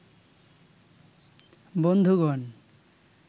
বন্ধুগণ